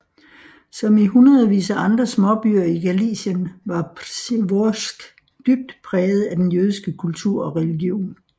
Som i hundredvis af andre små byer i Galicien var Przeworsk dybt præget af den jødiske kultur og religion